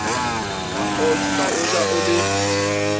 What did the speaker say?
ka o ja o le